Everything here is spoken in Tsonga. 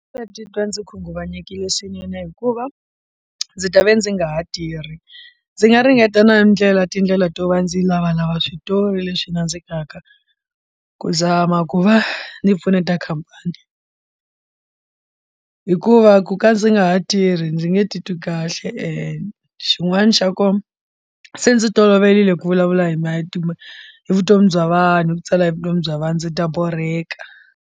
Ndzi titwa ndzi khunguvanyekile swinene hikuva ndzi ta va ndzi nga ha tirhi ndzi nga ringeta na ndlela tindlela to va ndzi lavalava switori leswi nandzikaka ku zama ku va ni pfuneta khampani hikuva ku ka ndzi nga ha tirhi ndzi nge titwi kahle ene xin'wana xa kona se ndzi toloverile ku vulavula hi matimu hi vutomi bya vanhu hi ku tsala hi vutomi bya vanhu ndzi ta borheka.